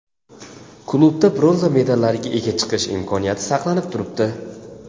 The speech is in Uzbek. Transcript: Klubda bronza medallariga ega chiqish imkoniyati saqlanib turibdi.